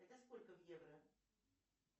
это сколько в евро